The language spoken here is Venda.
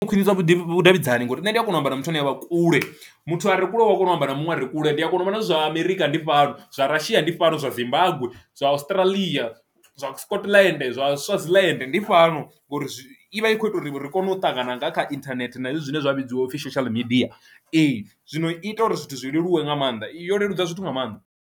U khwinisa vhudavhidzani ngori nṋe ndi a kona u amba na muthu ane avha kule muthu a re kule u ya kona u amba na muṅwe a re kule ndi a kona u vha na zwa Amerika ndi fhano, zwa Russia ndi fhano, zwa Zimbabwe, zwa Australia, zwa Scotlandort, zwa Swaziland ndi fhano, ngori zwi ivha i kho ita uri ri kone u ṱangana nga kha internet na hezwi zwine zwa vhidziwa upfhi social media. Ee zwino ita uri zwithu zwi leluwe nga maanḓa yo leludza zwithu nga maanḓa.